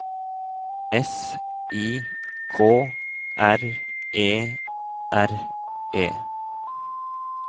S I K R E R E